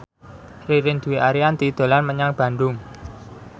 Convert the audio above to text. Ririn Dwi Ariyanti dolan menyang Bandung